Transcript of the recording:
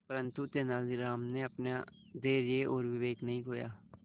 परंतु तेलानी राम ने अपना धैर्य और विवेक नहीं खोया